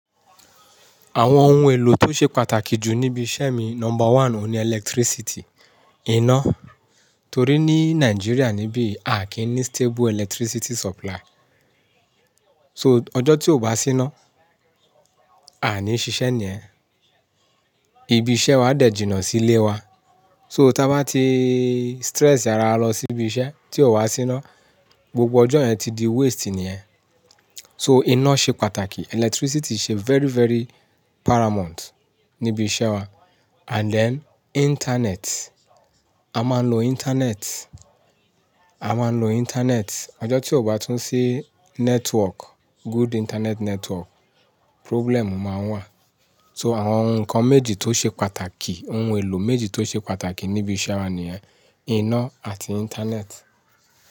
Àwọn ohun èlò tó ṣe pàtàkì jù níbi iṣẹ́ mi, number one ni electricity, iná. Torí ní Nigeria níbí a kì í ní stable electricity supply. So ọjọ́ tí ò bá sí iná, a ní ṣiṣẹ́ nìyẹ̀n. Ibi iṣẹ́ wa dẹ̀ jìnnà sí ilé wa. So tá bá ti stress ara wa lọ sí ibi iṣẹ́ tí ò wá sí iná, gbogbo ọjọ́ yẹn ti di waste nìyẹn. So iná ṣe pàtàkì, electricity ṣe very, very paramount níbi iṣẹ́ wa. And then internet, a máa ń lo internet. A máa ń lo internet. Ọjọ́ tí ò bá tún sí network, good internet network, problem máa n wà. So àwọn ohun kan méjì tó ṣe pàtàkì, ohun èlò méjì tó ṣe pàtàkì ní ibi iṣẹ́ wa nìyẹn, iná àti internet.